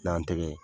N'an tɛgɛ